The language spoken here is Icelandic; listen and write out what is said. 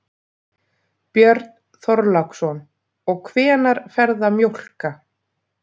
Björn Þorláksson: Og hvenær ferðu að mjólka?